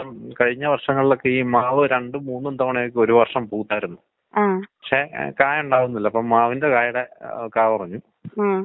ഈ വരുന്ന കുഞ്ഞുങ്ങള് മുതല് പ്രായം ആയ അവർ വരെയും ഈ തുമ്മലും രാത്രിയിലെ ശ്വാസം മുട്ടാണോ അവർ പറയണത്?